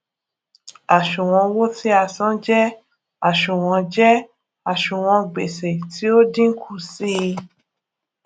àṣùwòn owó tí a san jé àṣùwòn jé àṣùwòn gbèsè tí ó dínkù sí i